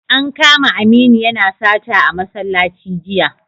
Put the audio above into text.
An kama Aminu yana sata a masallaci jiya